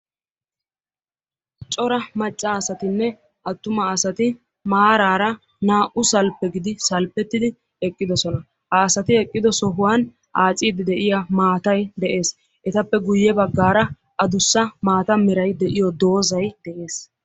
cora macca asatinne attuma asati maaraara naa'u salphe gididi salphetidi eqqidosoan ha asati eqqidosan aaciidi diya maatay de'ees, etappe guye bagaara addussa maata meray diyo dozzay de'ees.